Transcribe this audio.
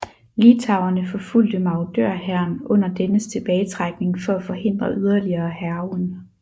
Litauerne forfulgte marodørhæren under dennes tilbagetrækning for at forhindre yderligere hærgen